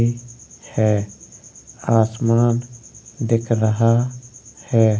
है। आसमान दिख रहा है।